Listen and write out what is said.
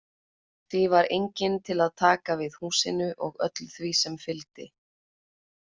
Því var enginn til að taka við húsinu og öllu sem því fylgdi.